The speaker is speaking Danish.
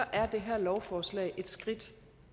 er det her lovforslag et skridt